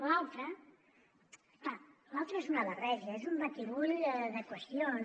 l’altre clar l’altre és una barreja és un batibull de qüestions